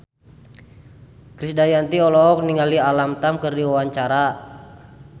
Krisdayanti olohok ningali Alam Tam keur diwawancara